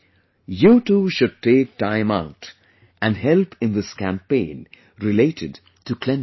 You too should take out time and help in this campaign related to cleanliness